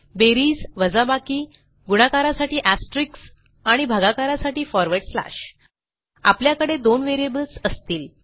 बेरीज वजाबाकी गुणाकारासाठी एस्टेरिस्क आणि भागाकारासाठी फॉरवर्ड स्लॅश आपल्याकडे दोन व्हेरिएबल्स असतील